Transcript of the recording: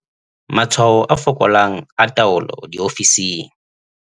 Matshwao a fokolang a taolo diofising.